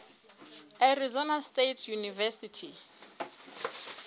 arizona state university